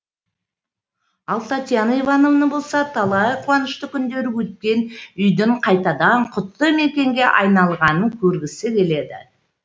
ал татьяна иванова болса талай қуанышты күндері өткен үйдің қайтадан құтты мекенге айналғанын көргісі келеді